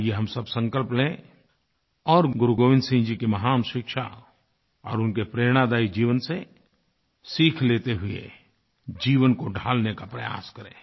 आइए हम सब संकल्प लें और गुरुगोविन्द सिंह जी की महान शिक्षा और उनके प्रेरणादायी जीवन से सीख लेते हुए जीवन को ढालने का प्रयास करें